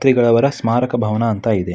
ತ್ರಿಗಳ ಅವರ ಸ್ಮಾರಕ ಭವನ ಅಂತ ಇದೆ.